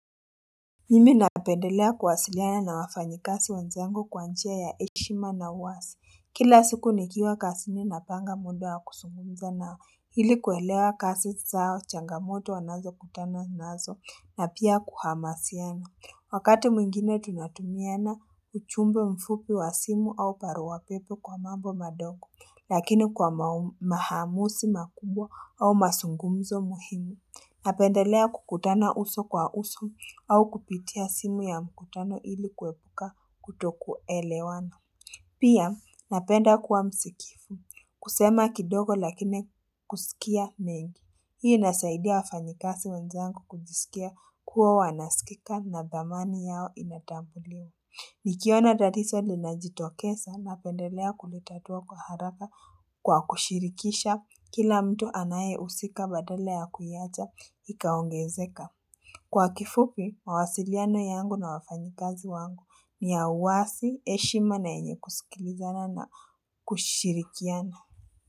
Mimi napendelea kuwasiliana na wafanyikazi wenzangu kwa njia ya heshima na wazi, kila siku nikiwa kazini napanga muda wa kuzungumza nao ili kuelewa kazi zao changamoto wanazokutana nazo na pia kuhamasiana. Wakati mwingine tunatumiana ujumbe mfupi wa simu au barua pepe kwa mambo madogo, lakini kwa maaamuzi makubwa au mazungumzo muhimu. Napendelea kukutana uso kwa uso au kupitia simu ya mkutano ili kuepuka kutoku elewano. Pia napenda kuwa msikifu. Kusema kidogo lakini kusikia mengi. Hii inasaidia wafanyikazi wenzangu kujisikia kuwa wanaskika na dhamani yao inatambuliwa. Nikiona tatizo linajitokeza napendelea kulitatua kwa haraka kwa kushirikisha Kila mtu anayehusika badala ya kuiacha ikaongezeka. Kwa kifupi, mawasiliano yangu na wafanyikazi wangu ni ya wazi, heshima na yenye kusikilizana na kushirikiana.